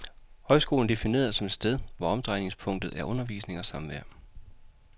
Højskolen er defineret som et sted hvor omdrejningspunktet er undervisning og samvær.